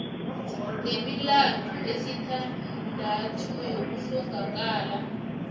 nemilandu esithandathu yokuhlongakala